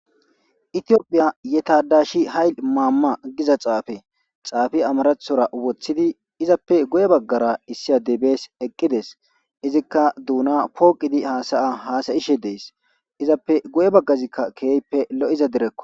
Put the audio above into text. Itiophiya yetadashi hayl maamma giza xaafe xaafi amarathora woththidi izappe goye baggara issiya debees eqqides izikka duuna pooqidi haasaya haasayishe dees izappe goye baggazikka keeyppe lo7iza direkko.